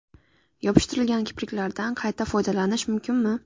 Yopishtiriladigan kipriklardan qayta foydalanish mumkinmi?